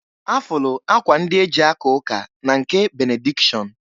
Afụlụ akwa ndị e ji aka ụka na nke benedikshọn.